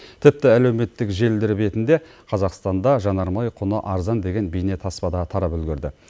тіпті әлеуметтік желілер бетінде қазақстанда жанармай құны арзан деген бейнетаспа да тарап үлгерді